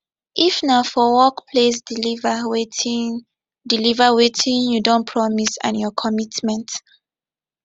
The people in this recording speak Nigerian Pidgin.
if na for workplace deliver wetin deliver wetin you don promise and your commitment